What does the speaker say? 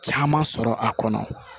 Caman sɔrɔ a kɔnɔ